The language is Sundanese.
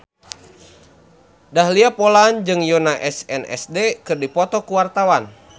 Dahlia Poland jeung Yoona SNSD keur dipoto ku wartawan